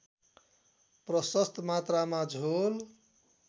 प्रशस्त मात्रामा झोल